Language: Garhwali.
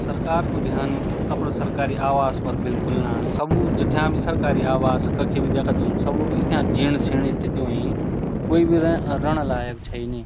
सरकार को ध्यान अपड़ सरकारी आवास पर बिलकुल ना सबू जथ्याँ सरकारी आवास कखी भी दयाखा तुम सबू इथ्याँ जीण-सीण स्थिति हुईं कि कुई भी रे रेणा लायक छई नी।